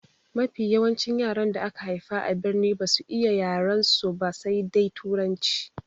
Mafi yawancin yaran da aka haifa a birni basu iya yarensu ba sai dai turanci.